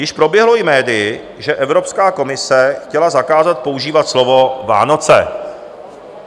Již proběhlo i médii, že Evropská komise chtěla zakázat používat slovo Vánoce.